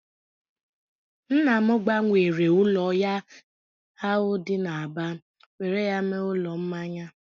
Nna m gbanwere ụlọ ya ahụ dị n'Aba were ya mee ụlọ mmanya